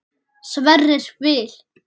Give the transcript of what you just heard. Sverrir Vil.